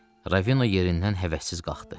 Ravino yerindən həvəssiz qalxdı.